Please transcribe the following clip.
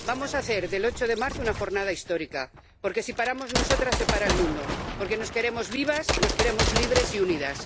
Vamos a hacer del 8 de marzo una jornada histórica, porque si paramos nosotras, se para el mundo, porque nos queremos vivas, nos queremos libres y unidas.